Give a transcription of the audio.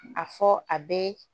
A fɔ a bɛ